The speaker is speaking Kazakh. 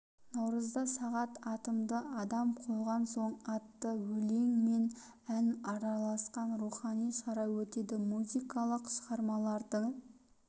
наурызда сағат атымды адам қойған соң атты өлең мен ән араласқан рухани шара өтеді музыкалық шығармаларды